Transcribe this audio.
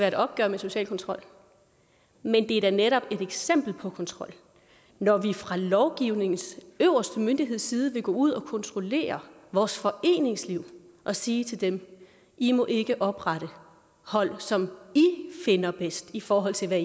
et opgør med social kontrol men det er da netop et eksempel på kontrol når vi fra lovgivningens øverste myndigheds side vil gå ud og kontrollere vores foreningsliv og sige til dem i må ikke oprette hold som i finder bedst i forhold til hvad